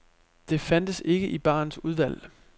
Det fandtes ikke i barens udvalg.